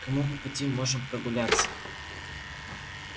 кому по пути можем прогуляться